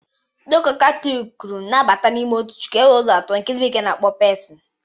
Ndị ụka katọliki kwuru na abata n'ime otu chukwu, e nwere ụzọ atọ nke ndị bekee na-akpọ pesin